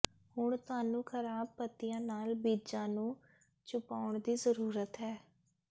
ਹੁਣ ਤੁਹਾਨੂੰ ਖਰਾਬ ਪੱਤੀਆਂ ਨਾਲ ਬੀਜਾਂ ਨੂੰ ਛੁਪਾਉਣ ਦੀ ਜ਼ਰੂਰਤ ਹੈ